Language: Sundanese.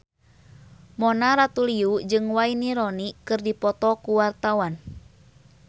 Mona Ratuliu jeung Wayne Rooney keur dipoto ku wartawan